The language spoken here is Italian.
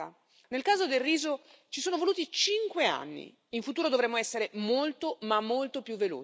In futuro dovremo essere molto, ma molto, più veloci, oppure anche gli europei ne pagheranno le conseguenze.